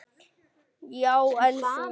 Já, en þú.